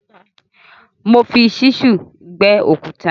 Mo fi ṣísúù gbẹ́ òkúta.